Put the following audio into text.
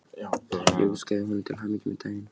Ég óskaði honum til hamingju með daginn.